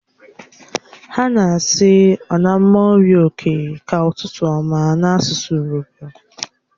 Ha na-asi "onamo urhioke" ka ututu ututu n'asusu urobo.